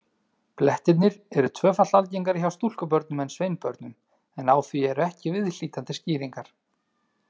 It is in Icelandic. Blettirnir eru tvöfalt algengari hjá stúlkubörnum en sveinbörnum, en á því eru ekki viðhlítandi skýringar.